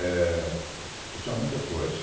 eh. E são muitas coisas.